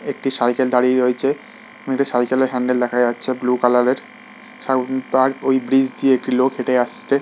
একটি সাইকেল দাঁড়িয়ে রয়েছে | সাইকেলের হ্যান্ডেল দেখা যাচ্ছে ব্লু কালারের |সাম তার ওই ব্রিজ দিয়ে একটি লোক হেঁটে আছে।